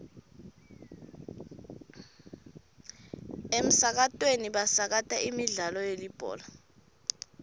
emsakatweni basakata imidlalo yelibhola